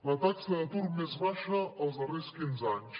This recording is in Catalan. la taxa d’atur més baixa dels darrers quinze anys